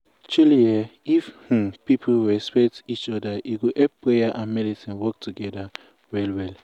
truely eeh if um people respect um each oda e go help prayer and medicine work togeda ah well well.